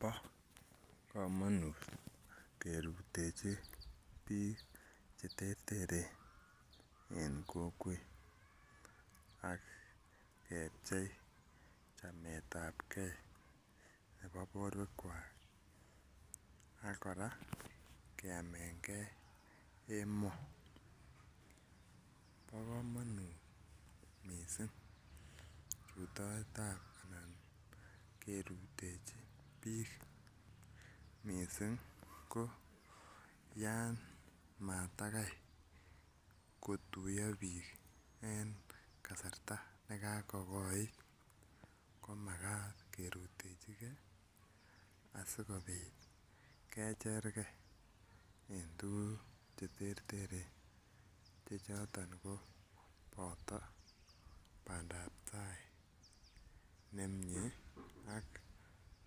Bo komonut kerutechi bik cheterteren en kokwet ak kepchei chametagee nebo borwek kwak ak koraa keamengee emo, bo komonut missing rutoitab ana kerutechi bik missing ko yan matakai kotuyo bik en kasarta nekako kogoit komakat kerutechigee asikopit kechergee en tukuk cheterter che choton ko noton pandap tai nemiten ak